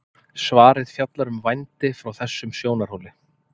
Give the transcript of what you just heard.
Svarið fjallar um vændi frá þessum sjónarhóli.